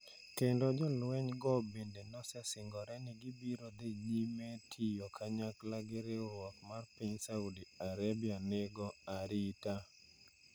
kendo jolweny go bende osesingore ni gibiro dhi nyime tiyo kanyakla gi riwruok mar piny Saudi Arabia nigo arita.